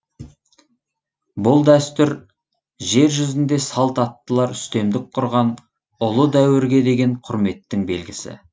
бұл дәстүр жер жүзінде салт аттылар үстемдік құрған ұлы дәуірге деген құрметтің белгісі